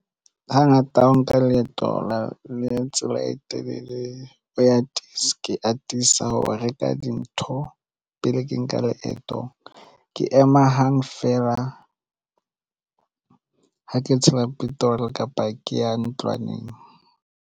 Hangata ha o nka leeto la le tsela e telele o ya ke atisa ho reka dintho pele ke nka leeto ke ema hang feela ha ke tshela petrol kapa ke ya ntlwaneng.